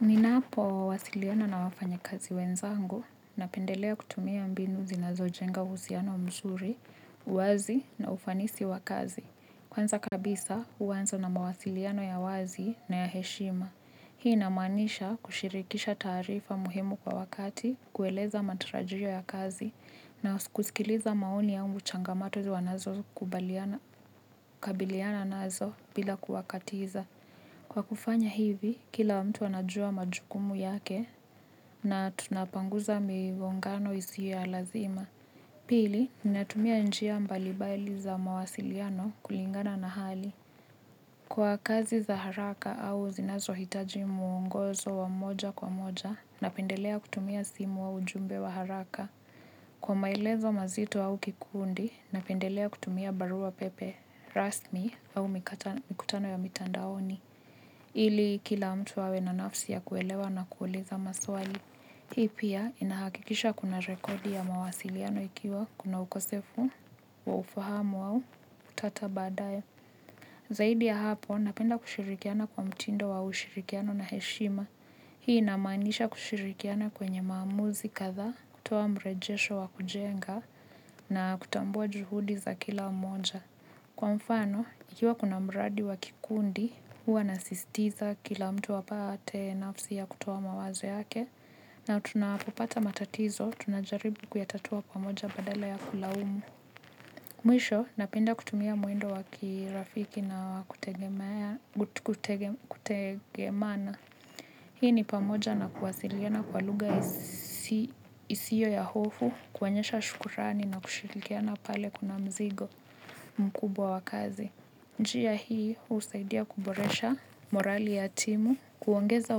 Ninapo wasiliana na wafanya kazi wenzangu na pendelea kutumia mbinu zinazo jenga uhusiano mzuri, uwazi na ufanisi wakazi. Kwanza kabisa, uanza na mawasiliano ya wazi na ya heshima. Hii inamaanisha kushirikisha taarifa muhimu kwa wakati, kueleza matarajio ya kazi na kusikiliza maoni ya au changamoto wanazo kubaliana, kabiliana nazo bila kuwakatiza. Kwa kufanya hivi, kila mtu anajua majukumu yake na tunapanguza migongano isio ya lazima. Pili, ninatumia njia mbalibaili za mawasiliano kulingana na hali. Kwa kazi za haraka au zinazo hitaji muongozo wa moja kwa moja na pendelea kutumia simu au ujumbe wa haraka. Kwa maelezo mazito au kikundi na pendelea kutumia barua pepe, rasmi au mikutano ya mitandaoni. Ili kila mtu awe na nafsi ya kuelewa na kuuliza maswali. Hii pia inahakikisha kuna rekodi ya mawasiliano ikiwa kuna ukosefu wa ufahamu au utata badae. Zaidi ya hapo napenda kushirikiana kwa mtindo wa ushirikiano na heshima. Hii inamaanisha kushirikiana kwenye maamuzi kathaa kutoa mrejesho wa kujenga na kutambua juhudi za kila mmoja. Kwa mfano, ikiwa kuna mradi wa kikundi, huwa nasistiza kila mtu apate nafsi ya kutoa mawazo yake, na tunapopata matatizo, tunajaribu kuyatatua pamoja badala ya kulaumu. Mwisho, napenda kutumia mwendo wakirafiki na kutegemana. Hii ni pamoja na kuwasiliana kwa lugha isio ya hofu, kuonyesha shukurani na kushirikiana pale kuna mzigo mkubwa wa kazi. Njia hii, husaidia kuboresha morali ya timu, kuongeza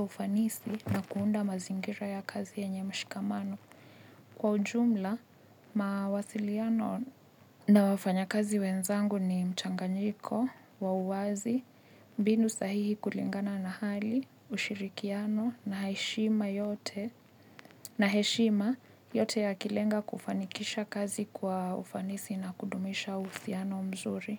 ufanisi na kuunda mazingira ya kazi yenye mshikamano. Kwa ujumla, mawasiliano na wafanya kazi wenzangu ni mchanganyiko, wa uwazi, mbinu sahihi kulingana na hali, ushirikiano na heshima yote na heshima yote ya kilenga kufanikisha kazi kwa ufanisi na kudumisha uhusiano mzuri.